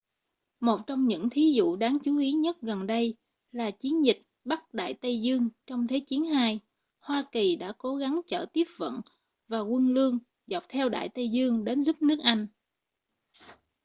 một trong những thí dụ đáng chú ý nhất gần đây là chiến dịch bắc đại tây dương trong thế chiến ii hoa kỳ đã cố gắng chở tiếp vận và quân lương dọc theo đại tây dương đến giúp nước anh